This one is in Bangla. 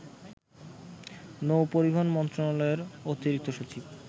নৌ-পরিবহন মন্ত্রণালয়ের অতিরিক্ত সচিব